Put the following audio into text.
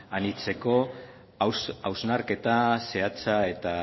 anitzeko hausnarketa zehatza eta